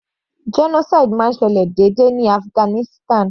Genocide máa ń ṣẹlẹ̀ déédé ní Afghanistan.